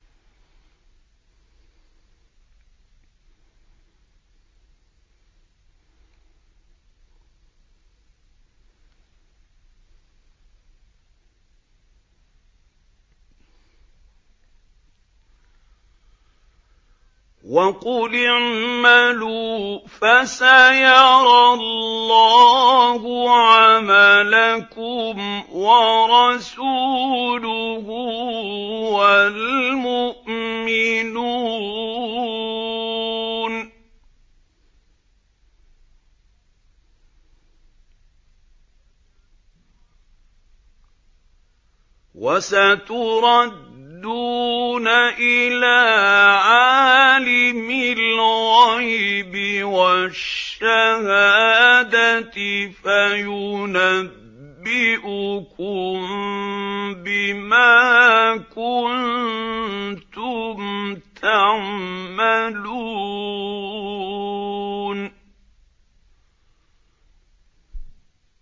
وَقُلِ اعْمَلُوا فَسَيَرَى اللَّهُ عَمَلَكُمْ وَرَسُولُهُ وَالْمُؤْمِنُونَ ۖ وَسَتُرَدُّونَ إِلَىٰ عَالِمِ الْغَيْبِ وَالشَّهَادَةِ فَيُنَبِّئُكُم بِمَا كُنتُمْ تَعْمَلُونَ